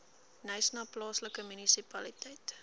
knysna plaaslike munisipaliteit